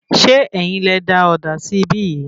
Ṣe ẹ́yin lẹ da òdà sí ibi yìí?